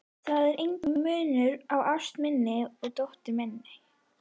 Það er enginn munur á ást minni og dóttur minnar.